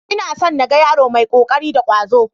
Ina son na ga yaro mai ƙoƙari da ƙwazo.